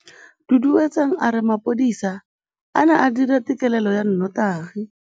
Duduetsang a re mapodisa a ne a dira têkêlêlô ya nnotagi.